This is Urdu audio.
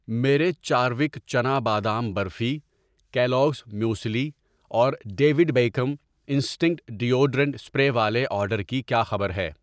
میرے چاروک چنا بادام برفی ، کیلوگز موسلی اور David Beckham Instinct deodorant spray والے آرڈر کی کیا خبر ہے؟